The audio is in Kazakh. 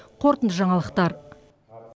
қорытынды жаңалықтар